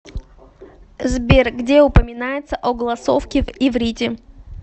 сбер где упоминается огласовки в иврите